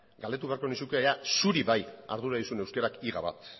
galdetu beharko nizuke ea zuri bai ardura dizun euskarak higa bat